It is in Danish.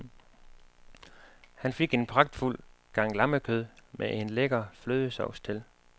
Han fik en pragtfuld gang lammekød med en lækker flødesovs til.